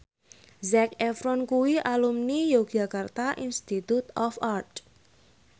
Zac Efron kuwi alumni Yogyakarta Institute of Art